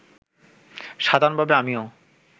সাধারণভাবে আমিও